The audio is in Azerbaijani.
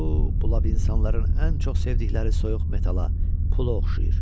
O, bu lav insanların ən çox sevdikləri soyuq metala, pula oxşayır.